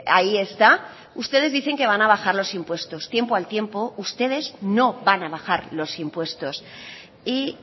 ahí está ustedes dicen que van a bajar los impuestos tiempo al tiempo ustedes no van a bajar los impuestos y